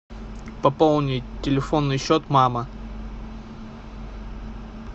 пополнить телефонный счет мама